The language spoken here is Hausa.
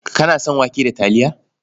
Kana son wake da taliya?